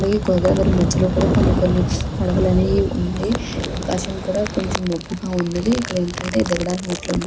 అలగే గోదావరి మధ్యలో కూడా కొన్ని కొన్ని పడవలనేయి ఉన్నాయీ ఆకాశం కూడ కొంచం మబ్బుగా ఉన్నది ఇక్కడ ఏంటంటే దిగడానికి మెట్ట్లు --